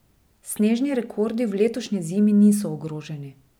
Snežni rekordi v letošnji zimi niso ogroženi.